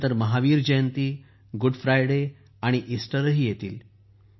त्या नंतर Mahavir Jayanti good Friday आणि इस्टरही येतील